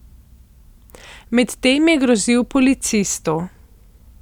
Med tem je grozil policistu.